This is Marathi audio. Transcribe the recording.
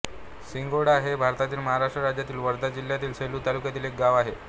सिंगोडा हे भारतातील महाराष्ट्र राज्यातील वर्धा जिल्ह्यातील सेलू तालुक्यातील एक गाव आहे